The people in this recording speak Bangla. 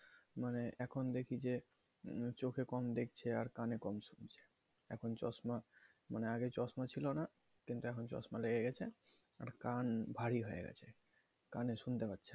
মানে এখন দেখি যে চোখে কম দেখছে আর কানে কম শুনছো এখন চশমা মানে আগে চশমা ছিলনা কিন্তু এখন চশমা লেগে গেছে আর কান ভারি হয়ে গেছে কানে শুনতে পাচ্ছে না